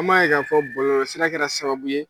An b'a ye k'a fɔ bɔlɔsira kɛra sababu ye